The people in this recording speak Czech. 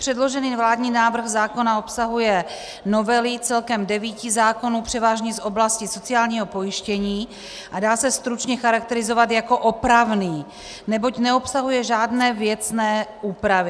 Předložený vládní návrh zákona obsahuje novely celkem devíti zákonů převážně z oblasti sociálního pojištění a dá se stručně charakterizovat jako opravný, neboť neobsahuje žádné věcné úpravy.